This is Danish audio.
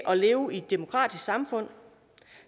at leve i et demokratisk samfund